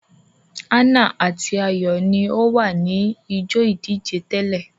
Ana ati Ayo ní o wá ni ijó ìdíje tẹlẹ.